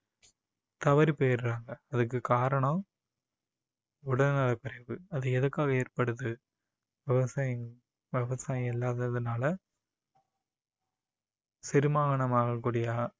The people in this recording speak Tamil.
தவறிப்போயிடுறாங்க. அதுக்கு காரணம் உடல்நலக் குறைவு அது எதுக்காக ஏற்படுது விவசாயம் விவசாயம் இல்லாத்ததுனால செரிமானம் ஆகக்கூடிய